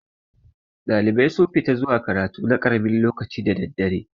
Ɗalibai sun fi ta zuwa karatu na karamin lokaci da daddare.